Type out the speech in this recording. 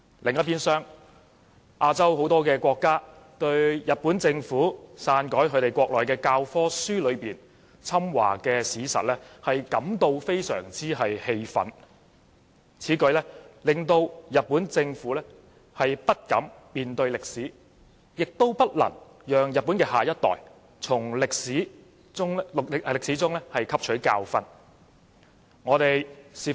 很多亞洲國家對日本政府篡改其教科書內侵華的史實，感到非常氣憤，此舉令人覺得日本政府不敢面對歷史，也不讓日本的下一代從歷史中汲取教訓。